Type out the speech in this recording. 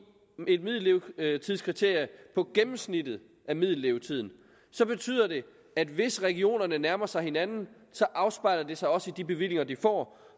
et middellevetidskriterium på gennemsnittet af middellevetiden så betyder det at hvis regionerne nærmer sig hinanden afspejler det sig også i de bevillinger de får